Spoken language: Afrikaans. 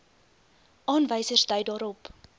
aanwysers dui daarop